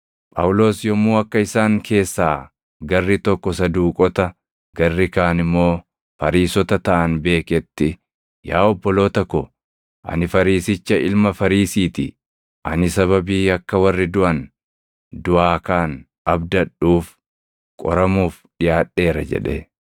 Phaawulos yommuu akka isaan keessaa garri tokko Saduuqota, garri kaan immoo Fariisota taʼan beeketti, “Yaa obboloota ko, ani Fariisicha ilma Fariisii ti. Ani sababii akka warri duʼan duʼaa kaʼan abdadhuuf qoramuuf dhiʼaadheera” jedhe.